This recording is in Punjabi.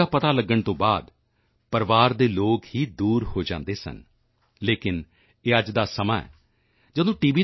ਦਾ ਪਤਾ ਲੱਗਣ ਤੋਂ ਬਾਅਦ ਪਰਿਵਾਰ ਦੇ ਲੋਕ ਹੀ ਦੂਰ ਹੋ ਜਾਂਦੇ ਸਨ ਲੇਕਿਨ ਇਹ ਅੱਜ ਦਾ ਸਮਾਂ ਹੈ ਜਦੋਂ ਟੀ